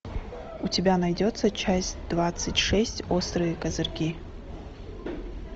у тебя найдется часть двадцать шесть острые козырьки